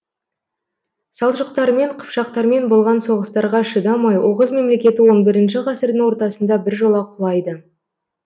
салжұқтармен қыпшақтармен болған соғыстарға шыдамай оғыз мемлекеті он бірінші ғасырдың ортасында біржола құлайды